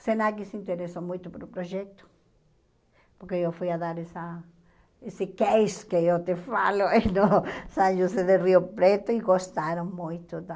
O Senac se interessou muito pelo projeto, porque eu fui a dar essa esse case que eu te falo, em no São José do Rio Preto, e gostaram muito da...